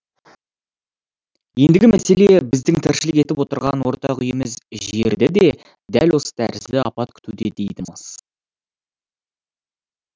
ендігі мәселе біздің тіршілік етіп отырған ортақ үйіміз жерді де дәл осы тәрізді апат күтуде дейді мыс